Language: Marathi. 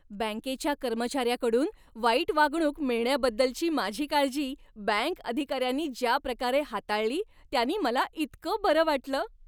बँकेच्या कर्मचाऱ्याकडून वाईट वागणूक मिळण्याबद्दलची माझी काळजी बँक अधिकाऱ्यानी ज्या प्रकारे हाताळली त्यानी मला इतकं बरं वाटलं.